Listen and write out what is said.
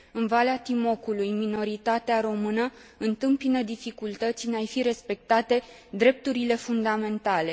În Valea Timocului, minoritatea română întâmpină dificultăți în a i fi respectate drepturile fundamentale.